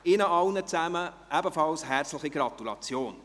Ihnen allen ebenfalls herzliche Gratulation.